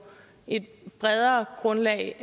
et bredere grundlag